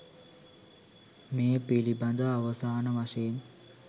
මේ පිළිබඳව අවසාන වශයෙන්